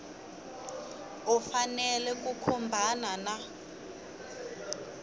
u fanele ku khumbana na